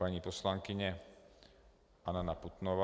Paní poslankyně Anna Putnová.